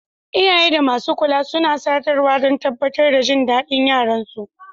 Iyaye da masu kula suna sadarwa don tabbatar da jin daɗin yaran su.